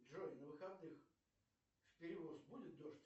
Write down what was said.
джой на выходных в перевоз будет дождь